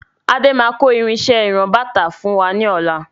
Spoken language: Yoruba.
Adé máà kò àwọn irinsẹ́ ìran-bàtà fún wa ní ọ̀la.